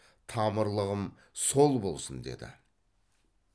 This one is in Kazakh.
тамырлығым сол болсын деді